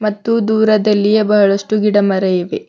ಮತ್ತು ದೂರದಲ್ಲಿಯ ಬಹಳಷ್ಟು ಗಿಡ ಮರ ಇವೆ.